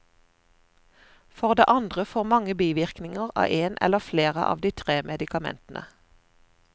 For det andre får mange bivirkninger av en eller flere av de tre medikamentene.